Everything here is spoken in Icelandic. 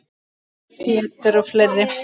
Pétur og fleiri.